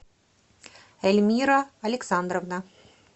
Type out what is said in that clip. эльмира александровна